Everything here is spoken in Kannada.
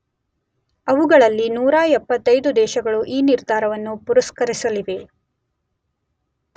ಅವುಗಳಲ್ಲಿ ೧೭೫ ದೇಶಗಳು ಈ ನಿರ್ಧಾರವನ್ನು ಪುರಸ್ಕರಿಸಲಿವೆ.